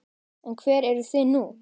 En hvar eruð þið nú?